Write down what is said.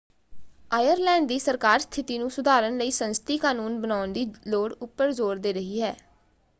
Ireland ਦੀ ਸਰਕਾਰ ਸਥਿਤੀ ਨੂੰ ਸੁਧਾਰਨ ਲਈ ਸੰਸਦੀ ਕਾਨੂੰਨ ਬਣਾਉਣ ਦੀ ਲੋੜ ਉੱਪਰ ਜ਼ੋਰ ਦੇ ਰਹੀ ਹੈ।